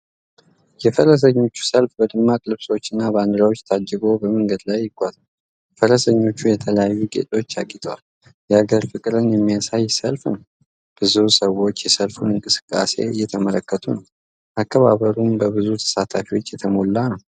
የፈረሰኞች ሰልፍ በደማቅ ልብሶችና ባንዲራዎች ታጅቦ በመንገድ ላይ ይጓዛል። ፈረሶቹም በተለያዩ ጌጦች አጊጠዋል። የሀገር ፍቅርን የሚያሳይ ሰልፍ ነው። ብዙ ሰዎች የሰልፉን እንቅስቃሴ እየተመለከቱ ነው። አከባበሩም በብዙ ተሳታፊዎች የተሞላ ነው።